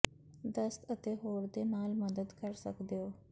ਦਸਤ ਅਤੇ ਹੋਰ ਦੇ ਨਾਲ ਮਦਦ ਕਰ ਸਕਦਾ ਹੈ